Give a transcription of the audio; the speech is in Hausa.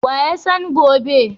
Wa ya san gobe?